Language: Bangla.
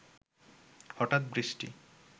হঠাৎ বৃষ্টি